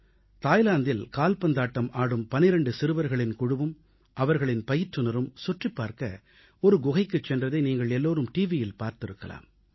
தாய்லாந்தில் கால்பந்தாட்டம் ஆடும் 12 சிறுவர்களின் குழுவும் அவர்களின் பயிற்றுநரும் சுற்றிப் பார்க்க ஒரு குகைக்குச் சென்றதை நீங்கள் எல்லோரும் டிவியில் பார்த்திருக்கலாம்